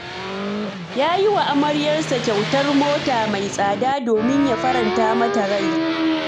Ya yi wa amaryarsa kyautar mota mai tsada domin ya faranta mata rai.